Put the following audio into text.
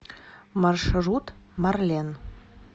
маршрут марлен